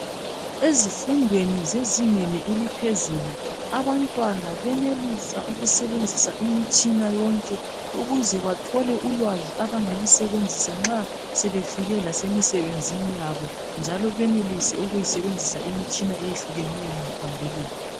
Ezifundweni zezingeni eliphezulu abantwana benelisa ukusebenzisa imitshina yonke ukuze bathole ulwazi abangalusebenzisa nxa sebefike lasemisebenzini yabo njalo benelise ukuyisebenzisa imitshina eyehlukeneyo ngaphambilini